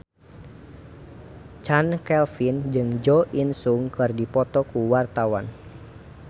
Chand Kelvin jeung Jo In Sung keur dipoto ku wartawan